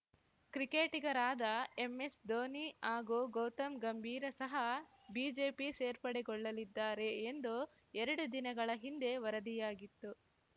ಕ್ರಿಕೆಟಿಗರಾದ ಎಂಎಸ್‌ಧೋನಿ ಹಾಗೂ ಗೌತಮ್‌ ಗಂಭೀರ ಸಹ ಬಿಜೆಪಿ ಸೇರ್ಪಡೆಗೊಳ್ಳಲಿದ್ದಾರೆ ಎಂದು ಎರಡು ದಿನಗಳ ಹಿಂದೆ ವರದಿಯಾಗಿತ್ತು